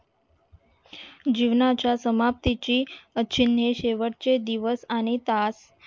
जीवनाच्या समपतीची चिन्हे शेवटचे दिवस आणि तास